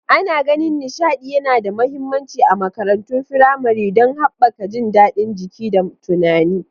Ana ganin nishaɗi yana da mahimmanci a makarantun firamare don haɓaka jin daɗin jiki da tunani.